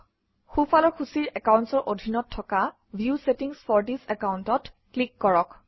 সোঁফালৰ সূচীৰ Accounts অৰ অধীনত থকা view settings for this account অত ক্লিক কৰক